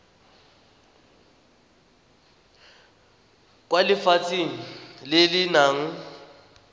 kwa lefelong le le nang